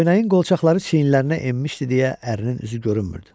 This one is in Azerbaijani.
Köynəyin qolçaqları çiyinlərinə enmişdi deyə ərinin üzü görünmürdü.